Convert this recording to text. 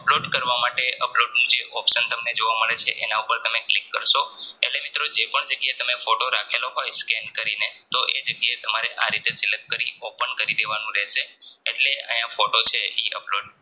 Upload કરવા માટે Upload નુ જે option તમને જોવા મળે છે એના ઉપર તમે click કારસો એટલે મિત્રો તમે જેપણ જગ્યાએ તમે photo રાખેલો હોય Scan કરીને તો એ જગ્યાએ આરીતે Select કરી Open દેવાનું રહેશે એટલે આયા photo છે ઈ Upload